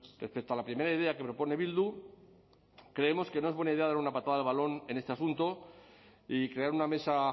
respecto a la primera idea que propone bildu creemos que no es buena idea dar una patada al balón en este asunto y crear una mesa